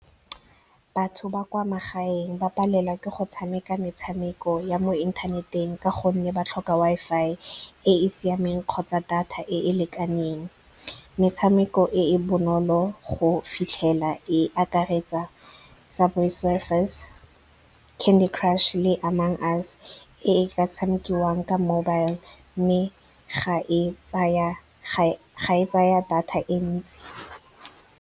Batho ba kwa magaeng ba palelwa ke go tshameka metshameko ya mo inthaneteng ka gonne ba tlhoka Wi-Fi e e siameng kgotsa data e e lekaneng. Metshameko e e bonolo go fitlhelela e akaretsa Subway Surfers, Candy Crush, le Among Us. E ka tshamekiwang ka mobile mme ga e tsaya data e ntsi.